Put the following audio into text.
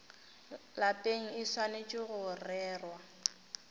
lapeng e swanetše go rerwa